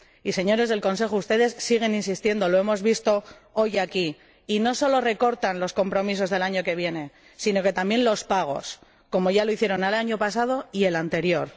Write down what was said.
Y, señores del Consejo, ustedes siguen insistiendo lo hemos visto hoy aquí y no solo recortan los compromisos del año que viene, sino que también recortan los pagos, como ya lo hicieron el año pasado y el anterior.